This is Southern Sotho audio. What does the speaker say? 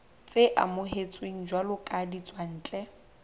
tse amohetsweng jwalo ka ditswantle